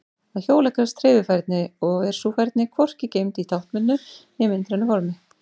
Að hjóla krefst hreyfifærni og er sú færni hvorki geymd í táknbundnu né myndrænu formi.